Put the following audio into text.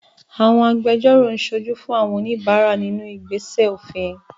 Àwọn agbẹjọ́rò ń ṣojú fún àwọn oníbàárà nínú ìgbésẹ̀ òfin